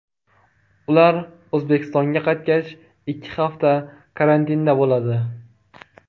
Ular O‘zbekistonga qaytgach, ikki hafta karantinda bo‘ladi.